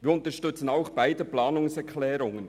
Wir unterstützen auch beide Planungserklärungen.